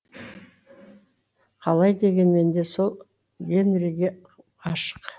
қалай дегенмен де сол гэнриге ғашық